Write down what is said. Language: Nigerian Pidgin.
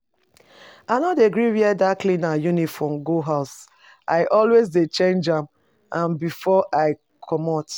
I no dey gree wear dat cleaner uniform go house. I always dey change am before I comot